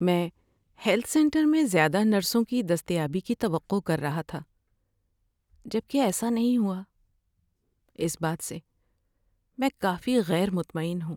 میں health centre میں زیادہ نرسوں کی دستیابی کی توقع کر رہا تھا، جب کہ ایسا نہیں ہوا، اس بات سے میں کافی غیر مطمئن ہوں۔